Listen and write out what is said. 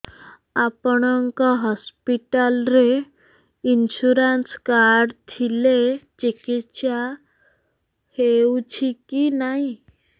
ଆପଣଙ୍କ ହସ୍ପିଟାଲ ରେ insurance card ଥିଲେ ଚିକିତ୍ସା ହେଉଛି କି ନାଇଁ